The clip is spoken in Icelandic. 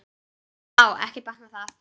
Vá, ekki batnar það!